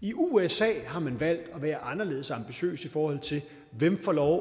i usa har man valgt at være anderledes ambitiøs i forhold til hvem der får lov